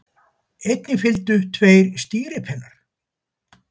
Einnig fylgdu tveir stýripinnar.